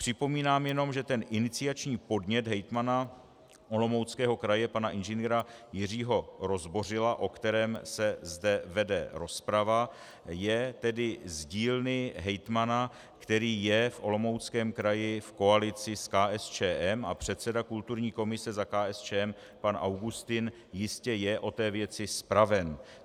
Připomínám jenom, že ten iniciační podnět hejtmana Olomouckého kraje pana Ing. Jiřího Rozbořila, o kterém se zde vede rozprava, je tedy z dílny hejtmana, který je v Olomouckém kraji v koalici s KSČM a předseda kulturní komise za KSČM pan Augustin jistě je o té věci zpraven.